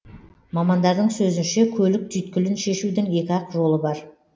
мамандардың сөзінше көлік түйткілін шешудің екі ақ жолы бар